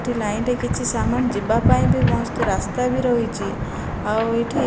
ଏଠି ଲାଇନ ରେ କିଛି ସାମାନ ଯିବାପାଇଁବି ମସ୍ତ ରାସ୍ତାବି ରହିଛି ଆଉଏଇଠି --